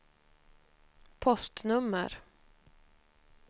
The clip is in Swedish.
postnummer